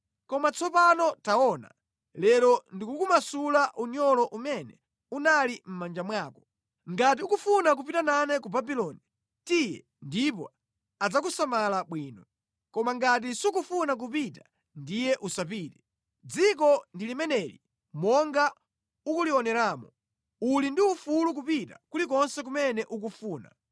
Koma tsopano taona, lero ndikukumasula unyolo umene unali mʼmanja mwako. Ngati ukufuna kupita nane ku Babuloni, tiye ndipo adzakusamala bwino. Koma ngati sukufuna kupita, ndiye usapite. Dziko ndi limeneli monga ukulioneramo. Uli ndi ufulu kupita kulikonse kumene ukufuna.”